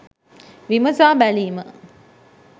විමසා බැලීම